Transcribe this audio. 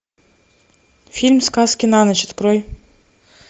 фильм сказки на ночь открой